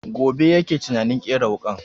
Gobe yake tunanin ƙera wuƙan